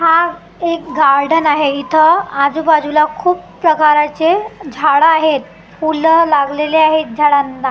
हां एक गार्डन आहे इथ आजबाजूला खूप प्रकाराचे झाड आहेत फुल लागलेली आहेत झाडांना .